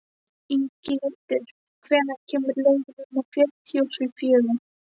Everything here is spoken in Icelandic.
Inghildur, hvenær kemur leið númer fjörutíu og fjögur?